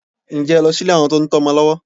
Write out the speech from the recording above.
Ǹjẹ́ ẹ lọ sí ilé àwọn tó ń tọ́ ọmọ lọ́wọ́?